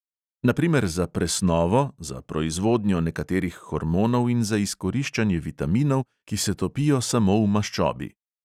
Na primer za presnovo, za proizvodnjo nekaterih hormonov in za izkoriščanje vitaminov, ki se topijo samo v maščobi.